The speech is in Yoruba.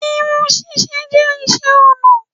Irun ṣíṣe jẹ́ iṣẹ́ ọnà